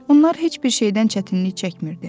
Onlar heç bir şeydən çətinlik çəkmirdi.